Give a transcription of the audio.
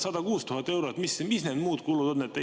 106 000 eurot, mis need muud kulud on?